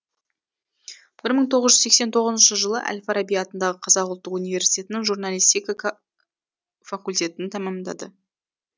бір мың тоғыз жүз сексен тоғызыншы жылы әл фараби атындағы қазақ ұлттық университетінің журналистика факультетін тәмамдады